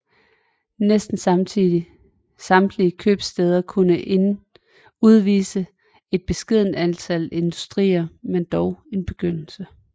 Næsten samtlige købstæder kunne udvise et beskedent antal industrier men dog en begyndelse